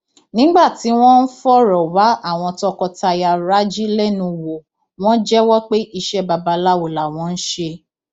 nígbà tí wọn ń fọrọ wá àwọn tọkọtaya raji lẹnu wò wọn jẹwọ pé iṣẹ babaláwo làwọn ń ṣe